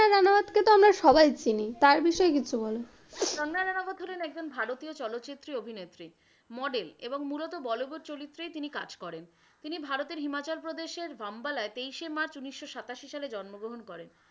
আমরা সবাই চিনি, তার বিষয়ে কিছু বলো। কঙ্গনা রানবত হলেন একজন ভারতীয় চলচ্চিত্রের অভিনেত্রী model এবং মূলত বলিউড চরিত্রেই তিনি কাজ করেন। তিনি ভারতের হিমাচল প্রদেশের ভাম্বয়ালায় তেইশে মার্চ উনিশশো সাতাশি সালে জন্মগ্রহণ করেন।